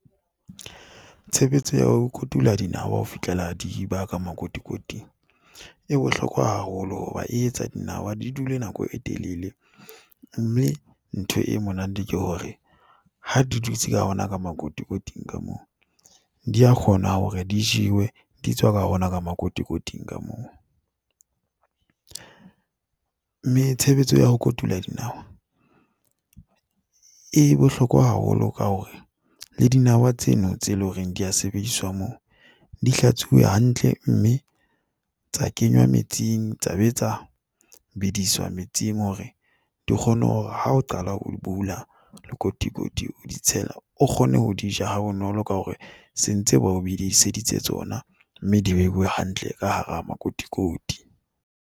Tshebetso ya ho kotulo dinawa ho fihlela di ba ka makotikoting e bohlokwa haholo hoba e etsa dinawa di dule nako e telele mme ntho e monate ke hore ha di dutse ka ona ka makotikoting ka moo di a kgona hore di jewe di tswa ka hona ka makotikoting ka moo. Mme tshebetso ya ho kotula e bohlokwa haholo ka hore le dinawa tseno tse loreng di a sebediswa moo di hlatsitswe hantle mme tsa kenywa metsing. Taba tsa bediswa metsing, hore di kgone hore ha o qala o bula lekotikoti, o di tshela, o kgone ho di ja ha bonolo ka hore se ntse ba o bidiseditse tsona mme di behile hantle ka hara makotikoti.